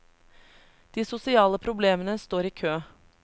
De sosiale problemene står i kø.